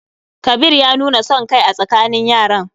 Kabir ya nuna son kai a tsakanin yaran.